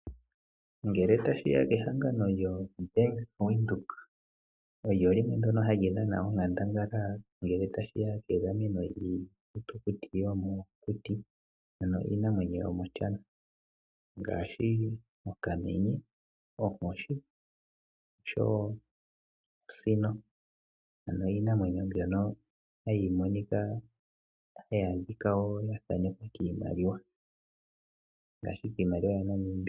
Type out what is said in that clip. Ngele tashi ya kehangano lyoBank Windhoek olyo limwe ndyono hali dhana onkandangala ngele tashi ya kegameno lyiithitukuti yomokuti, ano iinamwenyo yomiihwa ngaashi okamenye, onkoshi oshowo osino, ano iinamwenyo mbyoka hayi adhika ya thanekwa kiimaliwa, ngaashi kiimaliwa yaNamibia.